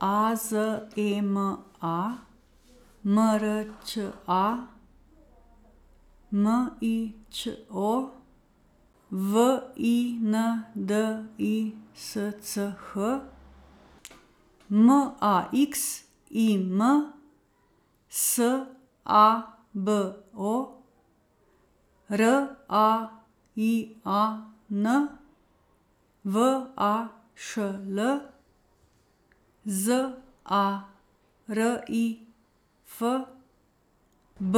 A Z E M A, M R Đ A; M I Ć O, V I N D I S C H; M A X I M, S A B O; R A I A N, V A Š L; Z A R I F, B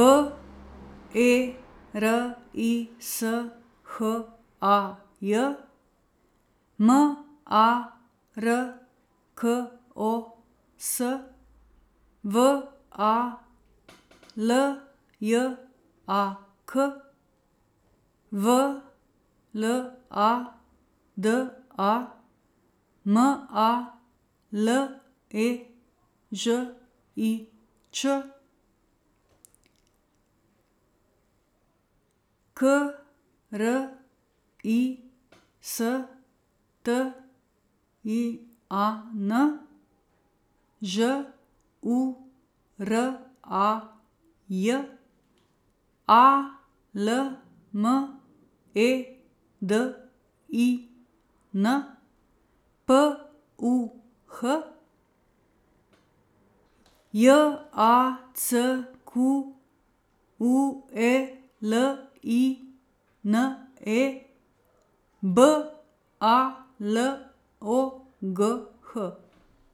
E R I S H A J; M A R K O S, V A L J A K; V L A D A, M A L E Ž I Č; K R I S T I A N, Ž U R A J; A L M E D I N, P U H; J A C Q U E L I N E, B A L O G H.